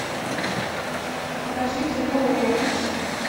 покажи кино лоракс